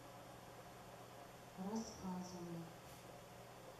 рассказово